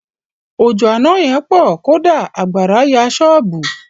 Òjò àna yẹn pọ̀. Kódà àgbàrá ya ṣọ́bùù.